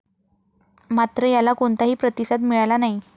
मात्र, याला कोणताही प्रतिसाद मिळाला नाही.